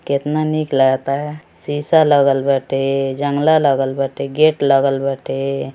केतना निक लागता शीशा लागल बाटे जांगला लागल बाटे गेट लागल बाटे।